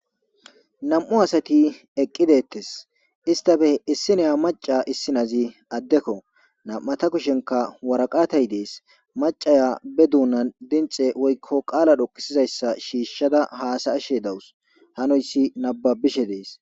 nam7u asati eqqidettes istafe issineya maca issinazi addekko nam7ata kushenka waraqatay dees macaya be duunan dinxe woykko qaala dhoqisizayssa shiishshada haasa'ashe dawus hanoyssi nababishe dees